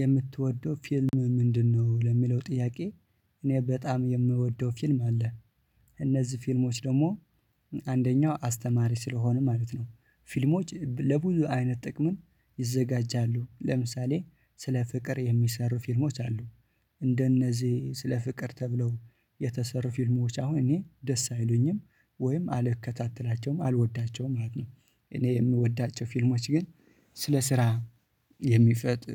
የምትወደው ፊልም ምንድነው ለሚለው ጥያቄ? እኔ በጣም የምወደው ፊልም አለ እነዚህ ፊልሞች ደግሞ አንደኛው አስተማሪ ስለሆኑ ማለት ነው ፊልሞች ለብዙ አይነት ጥቅም ይዘጋጃሉ ለምሳሌ ስለ ፍቅር የሚሰሩ ፊልሞች አሉ እንደነዚህ ስለ ፍቅር ተብለው የተሰሩ ፊልሞች አሁን እኔ ደስ አይሉኝም ወይም አልከታተላቸውም አልወዳቸውም ማለት ነው። እኔ የምወዳቸው ፊልሞች ግን ስለ ስራ የሚፈጥር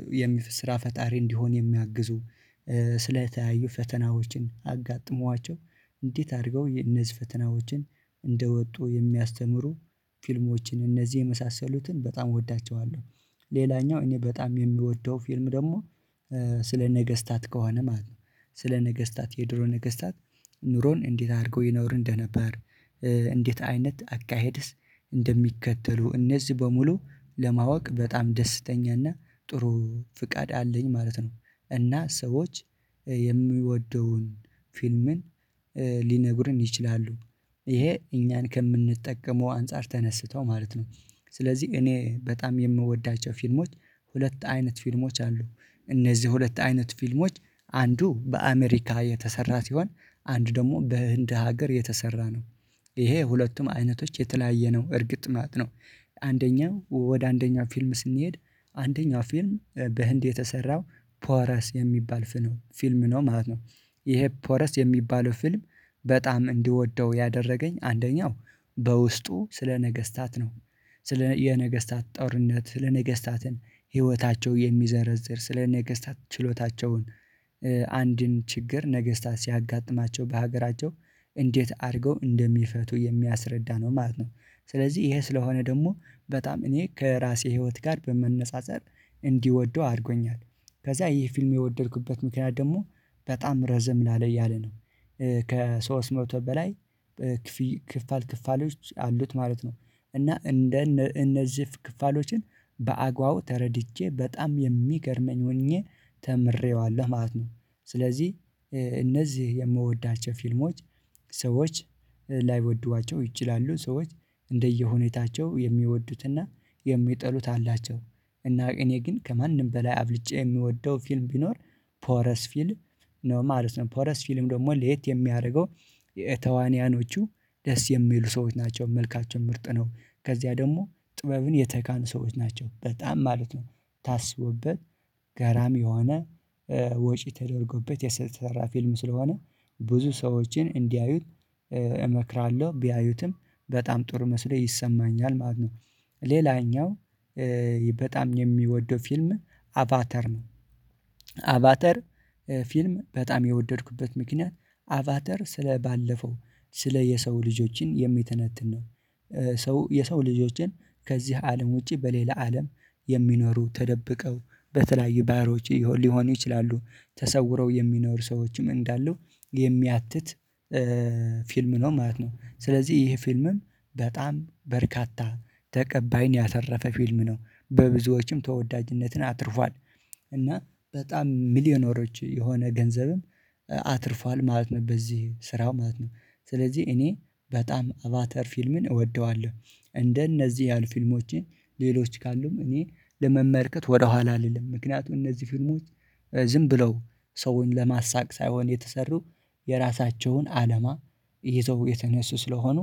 ስራ ፈጣሪ እንዲሆን የሚያግዙ ስለተለያዩ ፈተናዎችን አጋጥሟቸው እንዴት አድርገው እነዚህ ፈተናዎችን እንደወጡ የሚያስተምሩ ፊልሞችን እነዚህ የመሳሰሉትን በጣም እወዳቸዋለሁ። ሌላኛው እኔ በጣም የምወደው ፊልም ደግሞ ስለ ነገስታት ከሆነ ማለት ነው ስለ ነገስታት የድሮ ነገስታት ኑሮን እንዴት አድርገው ይኖር እንደነበር እንዴት አይነት አካሄድስ እንደሚከተሉ እነዚህ በሙሉ ለማወቅ በጣም ደስተኛና ጥሩ ፍቃድ አለኝ ማለት ነው። እና ሰዎች የምወደውን ፊልም ሊነግሩኝ ይችላሉ። ይሄ እኛን ከምንጠቀመው አንፃር ተነስተው ማለት ነው ስለዚህ እኔ በጣም የምወዳቸው ፊልሞች ሁለት አይነት ፊልሞች አሉ። እነዚህ ሁለት አይነት ፊልሞች አንዱ በአሜሪካ የተሰራ ሲሆን አንድ ደግሞ በህንድ ሀገር የተሰራ ነው ይሄ ሁለቱም አይነቶች የተለያየ ነው እርግጥ ማለት ነው። አንደኛው ወደ አንደኛው ፊልም ስንሄድ አንደኛው ፊልም በህንድ የተሰራው ፖረስ የሚባል ፊልም ነው ማለት ነው። ይሄ ፖረስ የሚባለው ፊልም በጣም እንድወደው ያደረገኝ አንደኛው በውስጡ ስለ ነገስታት ነው ስለ የነገስታት ጦርነት ስለ ነገስታትን ህይወታቸው የሚዘረዝር ስለነገስታት ችሎታቸውን አንድን ችግር ነገስታት ሲያጋጥማቸው በሀገራቸው እንዴት አድርገው እንደሚፈቱ የሚያስረዳ ነው ማለት ነው። ስለዚህ ይሄ ስለሆነ ደግሞ በጣም እኔ ከራሴ ህይወት ጋር በመነፃፀር እንድወደው አድርጎኛል። ከዛ ይሄ ፊልም የወደድኩበት ምክንያት ደግሞ በጣም ረዘም ላለ እያለ ነው ከሶስት መቶ በላይ ክፍል ክፍሎች አሉት ማለት ነው። እና እንደ እነዚህ ክፍሎችን በአግባቡ ተረድቼ በጣም የሚገርመኝ ሆኜ ተምሬዋለሁ ማለት ነው። ስለዚህ እነዚህ የምወዳቸው ፊልሞች ሰዎች ላይወዷቸው ይችላሉ ሰዎች እንደየሁኔታቸው የሚወዱትና የሚጠሉት አላቸው እና እኔ ግን ከማንም በላይ አብልጨ የምወደው ፊልም ቢኖር ፖረስ ፊልም ነው ማለት ነው። ፖረስ ፊልም ደግሞ ለየት የሚያደርገው የተዋንያኖቹ ደስ የሚሉ ሰዎች ናቸው መልካቸው ምርጥ ነው ከዚያ ደግሞ ጥበብን የተካኑ ሰዎች ናቸው በጣም ማለት ነው ታስቦበት ገራሚ የሆነ ወጪ ተደርጎበት የተሰራ ፊልም ስለሆነ ብዙ ሰዎችን እንዲያዩት እመክራለሁ ቢያዩትም በጣም ጥሩ መስሎ ይሰማኛል ማለት ነው። ሌላኛው በጣም የምወደው ፊልም አቫተር ነው። አቫተር ፊልም በጣም የወደድኩበት ምክንያት አቫተር ስለ ባለፈው ስለ የሰው ልጆችን የሚተነትን ነው ሰው የሰው ልጆችን ከዚህ አለም ውጪ በሌላ አለም የሚኖሩ ተደብቀው በተለያዩ ባህሮች ሊሆኑ ይችላሉ ተሰውረው የሚኖሩ ሰዎችም እንዳሉ የሚያትት ፊልም ነው ማለት ነው። ስለዚህ ይሄ ፊልምም በጣም በርካታ ተቀባይን ያተረፈ ፊልም ነው በብዙዎችም ተወዳጅነትን አትርፏል እና በጣም ሚሊዮነሮች የሆነ ገንዘብም አትርፏል ማለት ነው። በዚህ ስራው ማለት ነው ስለዚህ እኔ በጣም አቫተር ፊልምን እወደዋለሁ። እንደነዚህ ያሉ ፊልሞችን ሌሎች ካሉም እኔ ለመመልከት ወደኋላ አልልም ምክንያቱም እነዚህ ፊልሞች ዝም ብለው ሰውን ለማሳቅ ሳይሆን የተሰሩ የራሳቸውን አላማ ይዘው የተነሱ ስለሆኑ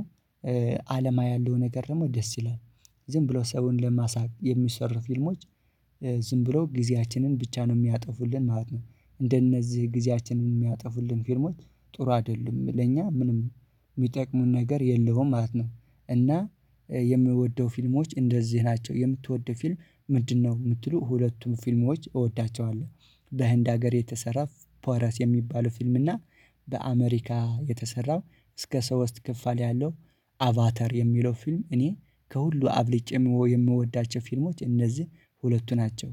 አላማ ያለው ነገር ደግሞ ደስ ይላል ዝም ብሎ ሰውን ለማሳቅ የሚሰሩ ፊልሞች ዝም ብሎ ጊዜያችንን ብቻ ነው የሚያጠፉልን ማለት ነው። እንደነዚህ ጊዜያችንን የሚያጠፉልን ፊርሞች ጥሩ አይደሉም ለኛ ምንም የሚጠቅሙን ነገር የለውም ማለት ነው። እና የምወደው ፊልሞች እንደዚህ ናቸው የምትወደው ፊልም ምንድነው? የምትሉ ሁለቱም ፊልሞች እወዳቸዋለሁ በህንድ ሀገር የተሰራ ፖራስ የሚባለው ፊልም እና በአሜሪካ የተሰራው እስከ ሶስት ከፍል ያለው አቫተር የሚለው ፊልም እኔ ከሁሉ አብልጭ የምወዳቸው ፊልሞች እነዚህ ሁለቱ ናቸው